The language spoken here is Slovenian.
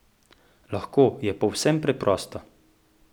Lahko je povsem preprosto!